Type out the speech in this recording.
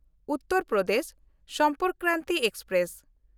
Uttar Pradesh Sampark Kranti express